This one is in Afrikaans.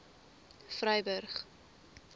vryburg